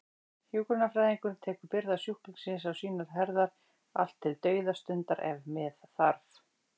Hjúkrunarfræðingurinn tekur byrðar sjúklingsins á sínar herðar, allt til dauðastundar ef með þarf.